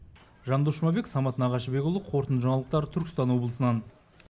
жандос жұмабек самат нағашыбекұлы қорытынды жаңалықтар түркістан облысынан